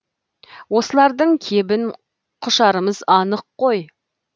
осылардың кебін құшарымыз анық қой